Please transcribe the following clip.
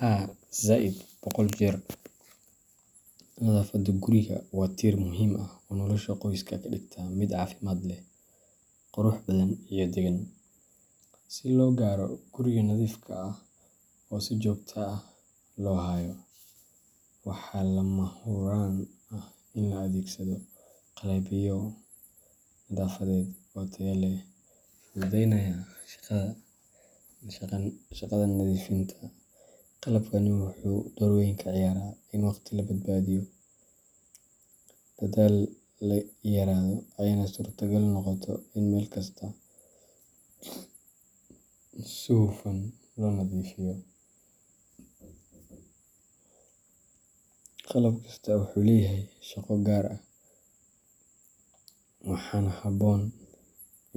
Haa zaid boqol jeer. Nadaafadda gurigu waa tiir muhiim ah oo nolosha qoyska ka dhigta mid caafimaad leh, qurux badan, iyo daggan. Si loo gaaro guriga nadiifka ah oo si joogto ah loo hayo, waxaa lama huraan ah in la adeegsado qalabyo nadaafadeed oo tayo leh, fududaynayana shaqada nadiifinta. Qalabkani wuxuu door weyn ka ciyaaraa in waqti la badbaadiyo, dadaalka yaraado, ayna suurtogal noqoto in meel kasta si hufan loo nadiifiyo. Qalab kasta wuxuu leeyahay shaqo gaar ah, waxaana habboon